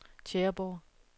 Tjæreborg